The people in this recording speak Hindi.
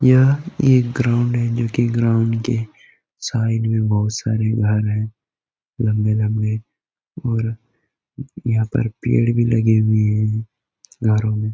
यह एक ग्राउंड हैं जो कि ग्राउंड के साइड में बहुत सारे घर है लंबे-लंबे और यहां पर पेड़ भी लगे हुए हैं घरों में।